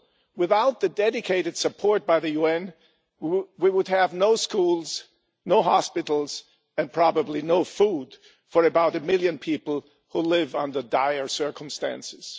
Without the dedicated support of the UN we would have no schools, no hospitals and probably no food for about a million people who live under dire circumstances.